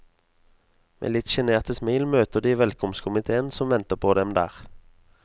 Med litt sjenerte smil møter de velkomstkomitéen som venter på dem der.